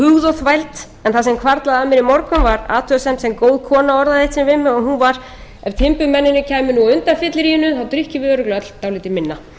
sem hvarflaði að mér í morgun var athugasemd sem góð kona orðaði eitt sinn við mig og hún var ef timburmennirnir kæmu á undan fylliríinu drykkjum við örugglega öll dálítið minna